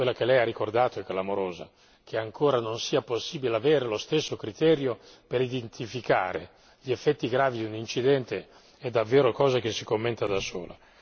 Quella che Lei ha ricordato è clamorosa che ancora non sia possibile avere lo stesso criterio per identificare gli effetti gravi di un incidente è davvero cosa che si commenta da sola.